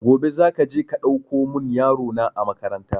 Gobe za ka je ka ɗauko mun yaro na a makaranta